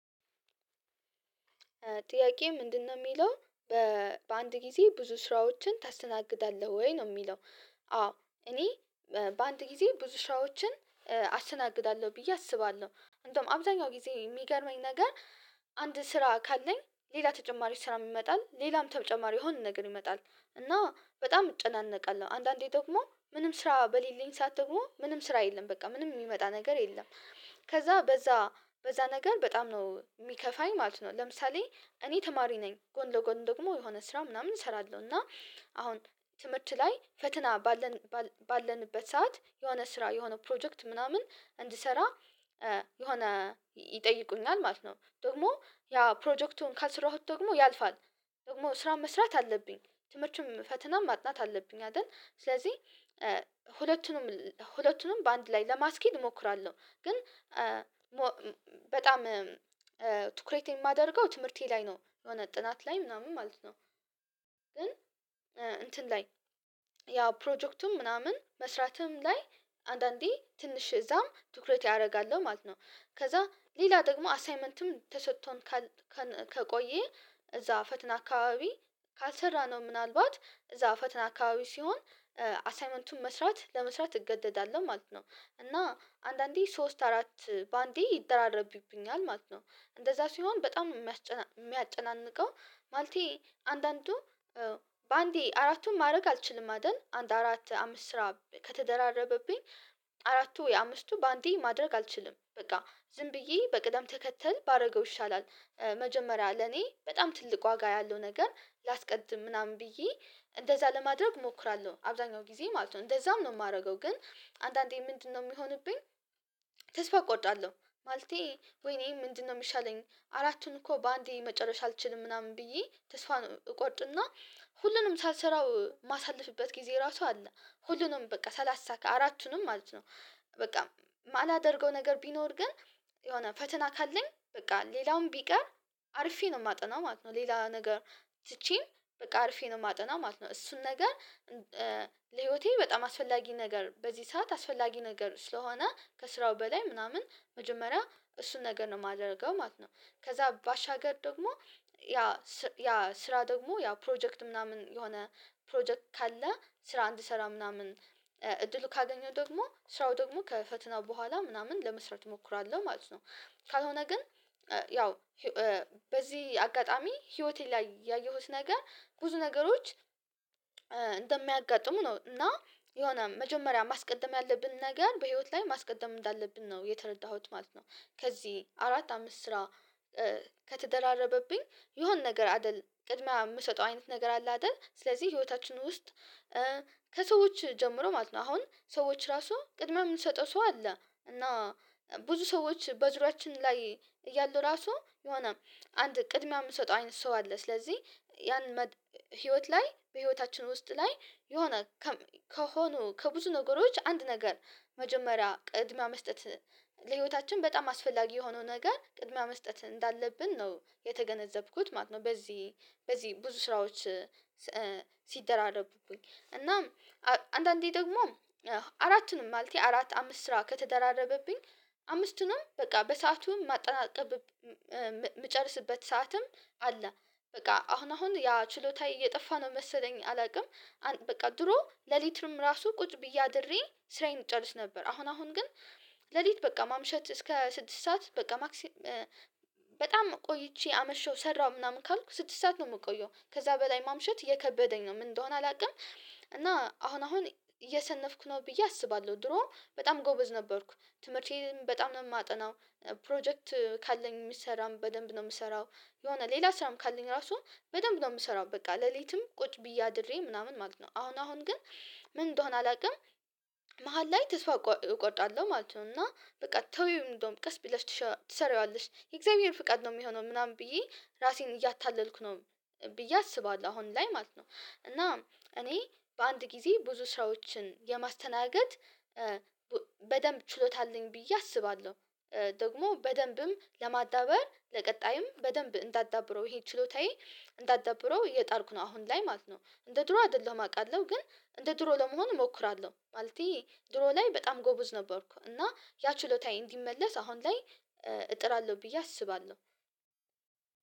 ጥያቄ ምንድን ነው የሚለው በበአንድ ጊዜ ብዙ ስራዎችን ታስተናግዳለህ ወይ ነው የሚለው? አዎ እኔ በአንድ ጊዜ ብዙ ስራዎችን አስተናግዳለሁ ብዬ አስባለሁ እንዲያውም አብዛኛው ጊዜ የሚገርመኝ ነገር አንድ ስራ ካለኝ ሌላ ተጨማሪ ስራም ይመጣል ሌላም ተጨማሪ የሆነ ነገር ይመጣል እና በጣም እጨናነቃለሁ አንዳንዴ ደግሞ ምንም ስራ በሌለኝ ሰዓት ደግሞ ምንም ስራ የለም በቃ ምንም የሚመጣ ነገር የለም ከዛ በዛ በዛ ነገር በጣም ነው የሚከፋኝ ማለት ነው። ለምሳሌ እኔ ተማሪ ነኝ ጎን ለጎን ደግሞ የሆነ ስራ ምናምን እሰራለሁ እና አሁን ትምህርት ላይ ፈተና ባለን ባለንበት ሰዓት የሆነ ስራ የሆነ ፕሮጀክት ምናምን እንድሰራ የሆነ ይጠይቁኛል ማለት ነው። ደግሞ ያ ፕሮጀክቱን ካልሰራሁት ደግሞ ያልፋል ደግሞ ስራ መስራት አለብኝ ትምህርትም ፈተናም ማጥናት አለብኝ። አይደል ስለዚህ ሁለቱንም ሁለቱንም በአንድ ላይ ለማስኬድ እሞክራለሁ ግን በጣም ትኩሬት የማደርገው ትምህርቴ ላይ ነው የሆነ ጥናት ላይ ምናምን ማለት ነው። ግን እንትን ላይ ያ ፕሮጀክቱም ምናምን መስራትም ላይ አንዳንዴ ትንሽ እዛም ትኩረት አደርጋለሁ ማለት ነው። ከዛ ሌላ ደግሞ አሳይመንትም ተሰጥቶን ካል ካል ከቆየ እዛ ፈተና አካባቢ ካልሰራ ነው ምናልባት እዛ ፈተና አካባቢ ሲሆን አሳይመንቱን መስራት ለመስራት እገደዳለሁ ማለት ነው። እና አንዳንዴ ሶስት አራት በአንዴ ይደራረብብኛል ማለት ነው። እንደዛ ሲሆን በጣም ነው የሚያስጨና የሚያጨናንቀው ማለቴ አንዳንዱ በአንዴ አራቱን ማድረግ አልችልም አይደል አንድ አራት አምስት ስራ ከተደራረበብኝ አራቱ ወይ አምስቱ በአንዴ ማድረግ አልችልም በቃ ዝም ብዬ በቅደም ተከተል ባደርገው ይሻላል መጀመሪያ ለኔ በጣም ትልቅ ዋጋ ያለው ነገር ላስቀድም ምናምን ብዬ እንደዛ ለማድረግ እሞክራለሁ። አብዛኛው ጊዜ ማለት ነው። እንደዛም ነው የማደርገው ግን አንዳንዴ ምንድን ነው የሚሆንብኝ? ተስፋ እቆርጣለሁ ማለቴ ወይኔ ምንድነው የሚሻለኝ አራቱን እኮ በአንዴ መጨረስ አልችልም ምናምን ብዬ ተስፋ እቆርጥና ሁሉንም ሳልሰራው የማሳለፍበት ጊዜ ራሱ አለ ሁሉንም በቃ ሳላሳካ አራቱንም ማለት ነው። በቃ የማላደርገው ነገር ቢኖር ግን የሆነ ፈተና ካለኝ በቃ ሌላውም ቢቀር አርፌ ነው የማጠናው ማለት ነው። ሌላ ነገር ትቼ በቃ አርፌ ነው የማጠናው ማለት ነው። እሱን ነገር ለህይወቴ በጣም አስፈላጊ ነገር በዚህ ሰዓት አስፈላጊ ነገር ስለሆነ ከስራው በላይ ምናምን መጀመሪያ እሱን ነገር ነው የማደርገው ማለት ነው። ከዛ ባሻገር ደግሞ ያ ስ ስራ ደግሞ ያ ፕሮጀክት ምናምን የሆነ ፕሮጀክት ካለ ስራ እንድሰራ ምናምን እድሉ ካገኘው ደግሞ ስራው ደግሞ ከፈተናው በኋላ ምናምን ለመስራት እሞክራለሁ ማለት ነው። ካልሆነ ግን ያው በዚህ አጋጣሚ ህይወቴ ላይ ያየሁት ነገር ብዙ ነገሮች እንደሚያጋጥሙ ነው እና የሆነ መጀመሪያ ማስቀደም ያለብን ነገር በህይወት ላይ ማስቀደም እንዳለብን ነው የተረዳሁት ማለት ነው። ከዚህ አራት አምስት ስራ ከተደራረበብኝ የሆነ ነገር አይደል ቅድሚያ የምሰጠው አይነት ነገር አለ አይደል ስለዚህ ህይወታችን ውስጥ ከሰዎች ጀምሮ ማለት ነው አሁን ሰዎች ራሱ ቅድሚያ የምንሰጠው ሰው አለ። እና ብዙ ሰዎች በዙሪያችን ላይ እያሉ ራሱ የሆነ አንድ ቅድሚያ የምንሰጠው አይነት ሰው አለ ስለዚህ ያን መ ህይወት ላይ በህይወታችን ውስጥ ላይ የሆነ ከሆኑ ከብዙ ነገሮች አንድ ነገር መጀመሪያ ቅድሚያ መስጠት ለህይወታችን በጣም አስፈላጊ የሆነው ነገር ቅድሚያ መስጠት እንዳለብን ነው የተገነዘብኩት ማለት ነው። በዚህ በዚህ ብዙ ስራዎች ሲደራረቡብኝ እናም አንዳንዴ ደግሞ አራት ነው ማለቴ አራት አምስት ስራ ከተደራረበብኝ አምስቱ ንም በቃ በሰአቱም የማጠናቅቅበት የምጨረስበት ሰዓትም አለ። በቃ አሁን አሁን ያ ችሎታየ እየጠፋ ነው መሰለኝ አላውቅም። በቃ ድሮ ሌሊቱንም ራሱ ቁጭ ብዬ አድሬ ስራዬን እጨርስ ነበር አሁን አሁን ግን ሌሊት በቃ ማምሸት እስከ ስድስት ሰዓት በቃ ማክሲ በጣም ቆይቼ አመሸው ሰራሁ ምናምን ካልኩ ስድስት ሰዓት ነው የምቆየው ከዛ በላይ ማምሸት እየከበደኝ ነው ምን እንደሆነ አላውቅም። እና አሁን አሁን እየሰነፍኩ ነው ብዬ አስባለሁ ድሮ በጣም ጎበዝ ነበርኩ ትምህርቴን በጣም ነው የማጠናው ፕሮጀክት ካለኝ የሚሰራም በደንብ ነው የምሰራው። የሆነ ሌላ ስራም ካለኝ ራሱ በደንብ ነው የምሰራው በቃ ሌሊትም ቁጭ ብዬ አድሬ ምናምን ማለት ነው። አሁን አሁን ግን ምን እንደሆነ አላውቅም። መሃል ላይ ተስፋ እቆ እቆርጣለሁ ማለት ነው እና በቃ ተይው እንደውም ቀስ ብለሽ ትሽ ትሰሪዋለሽ የእግዚአብሔር ፍቃድ ነው የሚሆነው ምናምን ብዬ ራሴን እያታለልኩ ነው ብዬ አስባለሁ አሁን ላይ ማለት ነው። እና እኔ በአንድ ጊዜ ብዙ ስራዎችን የማስተናገድ በደንብ ችሎታ አለኝ ብዬ አስባለሁ። ደግሞ በደንብም ለማዳበር ለቀጣይም በደንብ እንዳዳብረው ይሄ ችሎታዬ እንዳዳብረው እየጣርኩ ነው አሁን ላይ ማለት ነው። እንደ ድሮ አይደለም አውቃለሁ ግን እንደ ድሮ ለመሆን እሞክራለሁ ማለቴ ድሮ ላይ በጣም ጎበዝ ነበርኩ እና ያ ችሎታዬ እንዲመለስ አሁን ላይ እጥራለሁ ብዬ አስባለሁ።